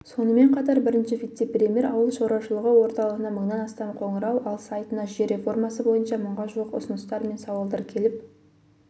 сонымен қатар бірінші вице-премьер ауыл шаруашылығы орталығына мыңнан астам қоңырау ал сайтына жер реформасы бойынша мыңға жуық ұсыныстар мен сауалдар келіп